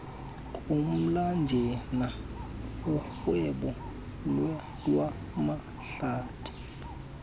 komlanjana urhwebo lwamahlathi